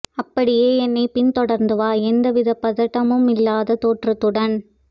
அபப்டியே என்னைப் பின் தொடர்ந்து வா எந்தவிதப் பதட்டமுமில்லாத தோற்றத்துடன்